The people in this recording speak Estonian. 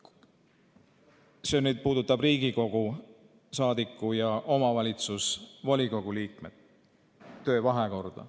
See puudutab Riigikogu saadiku ja omavalitsuse volikogu liikme töö vahekorda.